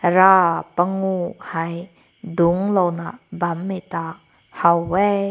ra panku hai dunk lao na bam meh ta ha weh.